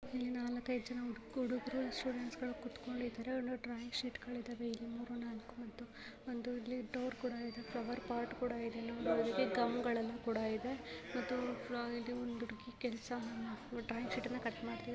ಇಲ್ಲಿ ನಾಲ್ಕೈದು ಜನ ಹುಡುಗರು ಸ್ಟೂಡೆಂಟ್ಸ್ ಗಳು ಕುತ್ಕೊಂಡಿದ್ದಾರೆ ಅಲ್ಲಿ ಡ್ರಾಯಿಂಗ್ ಶೀಟ್ ಗಳು ಇದ್ದಾವೆ ಇಲ್ಲಿ ಮೂರು ನಾಲ್ಕು ಮತ್ತು ಒಂದು ಇಲ್ಲಿ ಡೋರ್ ಕೂಡ ಇದೆ ಫ್ಲವರ್ ಪಾರ್ಟ್ ಕೂಡ ಇದೆ ನೋಡೋದಕ್ಕೆ ಗಮ್ ಗಳು ಕೂಡ ಇದೆ ಒಂದು ಹುಡುಗಿ ಕೆಲಸವನ್ನು ಡ್ರಾಯಿಂಗ್ ಶೀಟನ್ನು ಕಟ್ ಮಾಡುತಿದೆ.